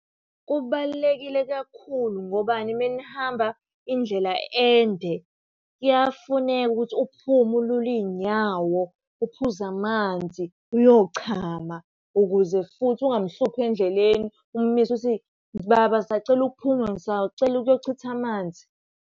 Kubalulekile kakhulu, ngobani? Uma nihamba indlela ende kuyafuneka ukuthi uphume ulule iy'nyawo, uphuze amanzi, uyochama, ukuze futhi ungamuhluphi endleleni umumise uthi, baba ngisacela ukuphuma ngisacela ukuyochitha amanzi.